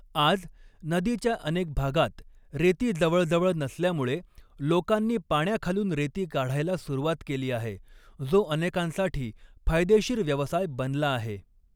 आज, नदीच्या अऩेक भागांत रेती जवळजवळ नसल्यामुळे लोकांनी पाण्याखालून रेती काढायला सुरुवात केली आहे, जो अनेकांसाठी फायदेशीर व्यवसाय बनला आहे.